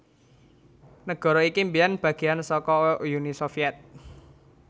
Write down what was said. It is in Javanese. Nagara iki mbiyèn bagéan saka Uni Sovyet